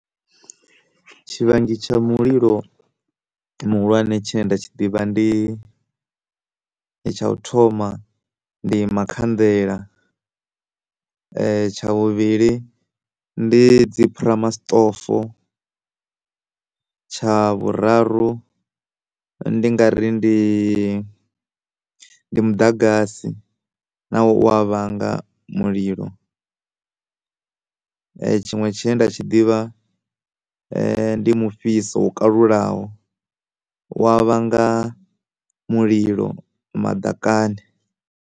Tshivhangi tsha mulilo muhulwane tshine nda tshi ḓivha ndi tsha u thoma ndi makhanḓela tsha vhuvhili ndi dzi phurama soṱofo tsha vhuraru ndi ngari ndi ndi muḓagasi nawo u ya vhanga mulilo tshiṅwe tshine nda tshi ḓivha ndi mufhiso wo kalulaho u wa vhanga mulilo maḓakani.